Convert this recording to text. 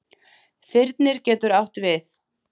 Þyrnir getur átt við